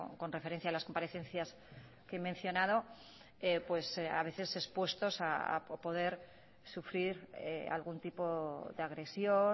con referencia a las comparecencias que he mencionado pues a veces expuestos a poder sufrir algún tipo de agresión